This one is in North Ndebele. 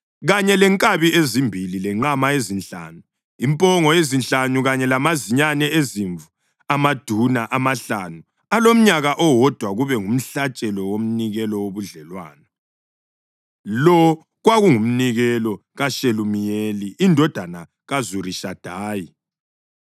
kanye lenkabi ezimbili, lenqama ezinhlanu, impongo ezinhlanu kanye lamazinyane ezimvu amaduna amahlanu alomnyaka owodwa kube ngumhlatshelo womnikelo wobudlelwano. Lo kwakungumnikelo kaShelumiyeli indodana kaZurishadayi.